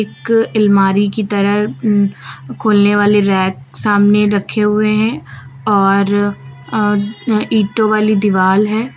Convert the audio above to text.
एक अलमारी की तरह उम खोलने वाले रैक सामने रखे हुए हैं और अह ईंटों वाली दीवाल है।